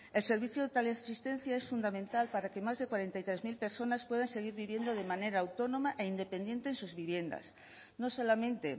el servicio de teleasistencia es fundamental para que más de cuarenta y tres mil personas puedan seguir viviendo de manera autónoma e independiente en sus viviendas no solamente